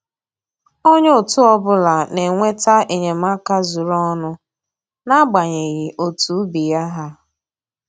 Onye otu ọbụla na-enweta enyemaka zuru ọnụ n'agbanyeghị otu ubi ya ha